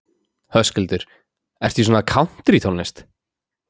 Höskuldur: Ertu í svona kántrítónlist?